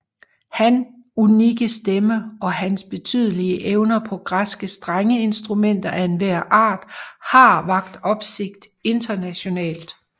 Han unikke stemme og hans betydelige evner på græske strengeinstrumenter af enhver art har vakt opsigt internationalt